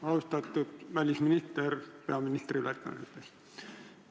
Austatud välisminister peaministri ülesannetes!